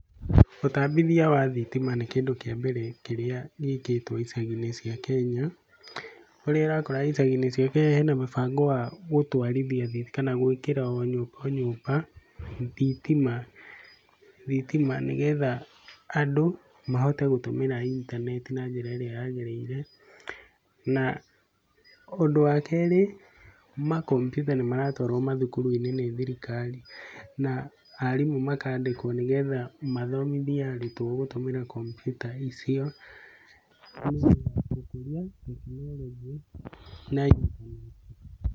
Ũtambithia wa thitima nĩ kĩndũ kĩa mbere kĩrĩa gĩkĩtwo icagi-inĩ cia Kenya. Kũrĩa ũrakora icagi-inĩ cia Kenya hena mũbango wa gũtwarithia, kana gwĩkĩra o nyũmba thitima, nĩ getha andũ mahote gũtũmĩra intaneti na njĩra ĩrĩa yagĩrĩire. Na ũndũ wa keri makombiuta nĩ maratwarwo mathukuru-inĩ nĩ thirikari. Na arimũ makandĩkwo nĩ getha mathomithie arutwo gũtũmĩra kombiuta icio nĩ getha gũkũria tekinoronjĩ na intaneti.